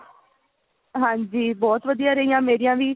ਹਾਂਜੀ ਬਹੁਤ ਵਧੀਆ ਰਹੀਆ ਮੇਰੀਆ ਵੀ